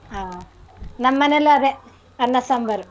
ಆ ನಮ್ಮನೆಲು ಅದೇ. ಅನ್ನ ಸಾಂಬಾರು.